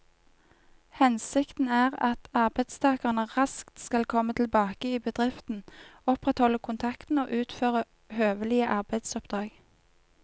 Hensikten er at arbeidstakeren raskt skal komme tilbake i bedriften, opprettholde kontakten og utføre høvelige arbeidsoppdrag.